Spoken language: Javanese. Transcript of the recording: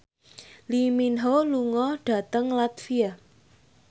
Lee Min Ho lunga dhateng latvia